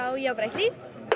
ég á bara eitt líf